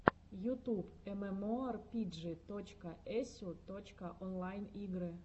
ютуб эмэмоарпиджи точка эсю точка онлайн игры